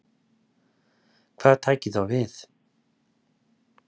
Hvað tæki þá við?